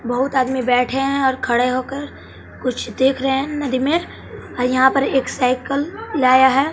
बहुत आदमी बैठे हैं और खड़े होकर कुछ देख रहे हैं नदी में और यहां पर एक साइकिल लाया है।